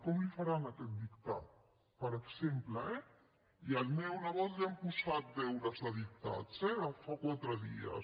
com li faran aquest dictat per exemple eh i al meu nebot li han posat deures de dictats eh fa quatre dies